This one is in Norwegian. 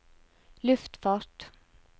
luftfart